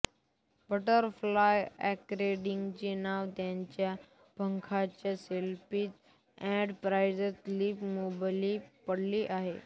butterfly ऑर्किडचे नाव त्याच्या पंखांसारखे सेपल्स आणि फ्रिन्ज्ड लिप लोबमुळे पडले आहे